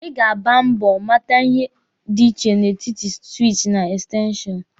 Ị ga agba mbọ mata ihe dị iche n'etiti siwichi na ekstenshọnụ.